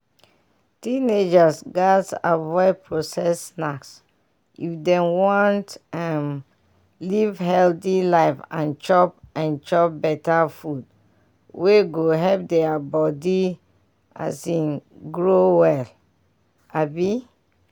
teenagers gatz avoid processed snacks if dem wan um live healthy life and chop and chop better food wey go help deir body um grow well um